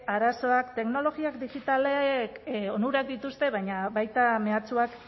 arazoak teknologia digitalek onurak dituzte baina baita mehatxuak